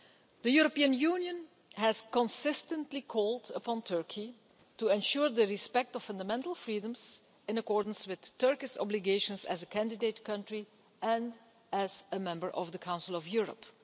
The European Union has consistently called upon Turkey to ensure the respect of fundamental freedoms in accordance with Turkey's obligations as a candidate country and as a member of the Council of Europe.